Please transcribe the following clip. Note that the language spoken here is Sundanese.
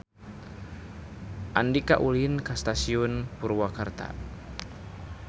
Andika ulin ka Stasiun Purwakarta